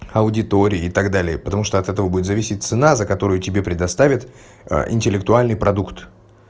аудитории и так далее потому что от этого будет зависеть цена за которую тебе предоставят интеллектуальный продукт